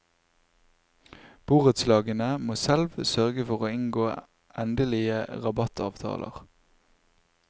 Borettslagene må selv sørge for å inngå endelige rabattavtaler.